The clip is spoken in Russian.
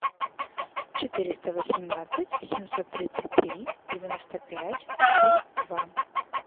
четыреста восемнадцать семьсот тридцать три девяносто пять три два